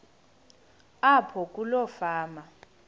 apho kuloo fama